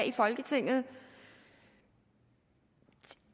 i folketinget i